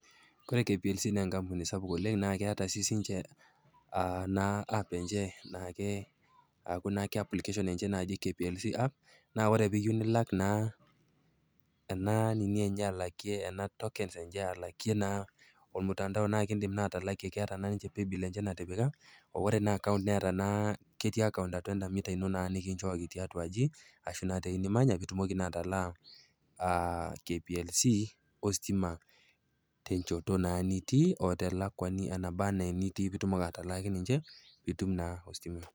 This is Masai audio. Koree KPLC naa encampuni sapuk oleng' naa ketaa siisi ninche app enye naa aku applications enye naati KPLC app naa ore piyeu nilak naa ena ning'i enye alakie ena tokens enye alakie naa ormutandao, idim naa atalakie ketaa ninche paybill enye natipika. Ore naa account neeta naa, keti account atua eda meter nikinchokij tiatua aji ashu teweji nimanya, pitumoki naa atalaa KPLC ositima tenchoto naa nitii oo telakuani enabaa naa enitii pitum atalaki ninche pitum ositima.